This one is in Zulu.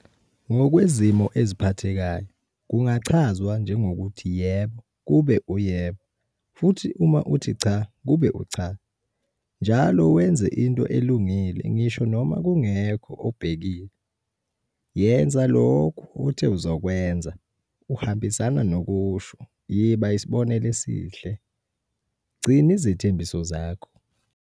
Ngokwezimo eziphathekayo kungachazwa njenge - ukuthi yebo kube uyebo futhi uma uthi cha kube ucha, njalo wenza into elungile ngisho noma kungekho obhekile, yena lokhe othe uzokwenza, uhambisana nokusho yiba isibonelo esihle, gcina izithembiso zakho.